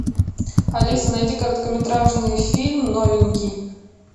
алиса найди короткометражный фильм новенький